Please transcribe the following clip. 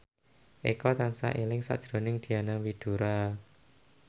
Eko tansah eling sakjroning Diana Widoera